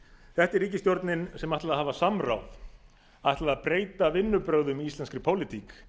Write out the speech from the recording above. þetta er ríkisstjórnin ætlaði að hafa samráð ætlaði að breyta vinnubrögðum í íslenskri pólitík